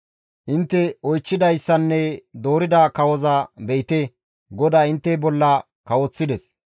«Intte oychchidayssanne doorida kawoza be7ite GODAY intte bolla kawoththides.